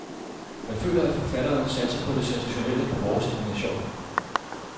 Man føler, at forfatteren satser på det sensationelle, på vores indignation.